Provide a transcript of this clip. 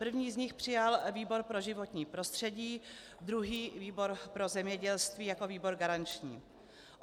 První z nich přijal výbor pro životní prostředí, druhý výbor pro zemědělství jako výbor garanční.